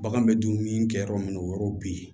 Bagan bɛ dumuni kɛ yɔrɔ min na o yɔrɔ bɛ yen